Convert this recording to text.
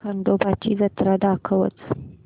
खंडोबा ची जत्रा दाखवच